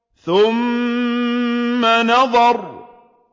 ثُمَّ نَظَرَ